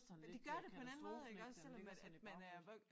Det gør det på en anden måde iggås selvom man at man er wok